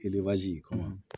kɔnɔ